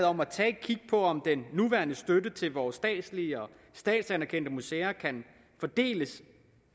om at tage et kig på om den nuværende støtte til vores statslige og statsanerkendte museer kan fordeles